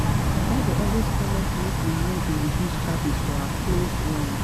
My Oga dey always tell us make we no dey reduce charges for our closed ones ones